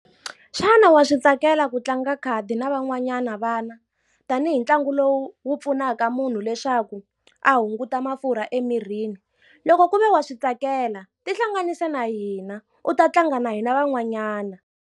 Xana wa swi tsakela ku tlanga khadi na van'wanyana vana? Tanihi ntlangu lowu wu pfunaka munhu leswaku a hunguta mafurha emirini. Loko ku ve wa swi tsakela tihlanganise na hina, u ta tlanga na hina van'wanyana.